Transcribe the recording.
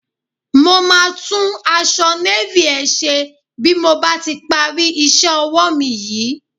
Mo máa tún aṣọ Navy ẹ ṣe bí mo bá ti parí iṣẹ́ ọwọ́ mi yìí.